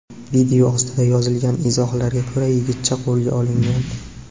Video ostiga yozilgan izohlarga ko‘ra, yigitcha qo‘lga olingan.